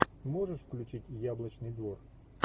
можешь включить яблочный двор